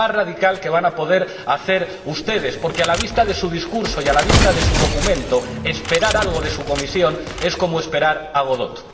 Es lo más radical que van a poder hacer ustedes porque, a la vista de su discurso y a la vista de su documento, esperar algo de su Comisión es como esperar a Godot.